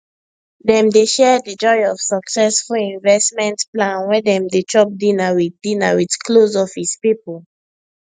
dem dey share the joy of successful investment plan when dem dey chop dinner with dinner with close office people